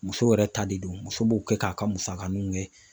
Muso yɛrɛ ta de don muso b'o kɛ k'a ka musakaninw ye